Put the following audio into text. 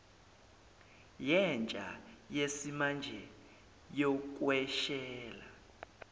yentsha yesimanje yokweshela